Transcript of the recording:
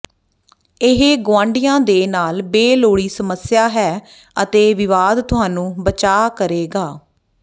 ਇਹ ਗੁਆਢੀਆ ਦੇ ਨਾਲ ਬੇਲੋੜੀ ਸਮੱਸਿਆ ਹੈ ਅਤੇ ਵਿਵਾਦ ਤੁਹਾਨੂੰ ਬਚਾ ਕਰੇਗਾ